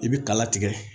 I bi kala tigɛ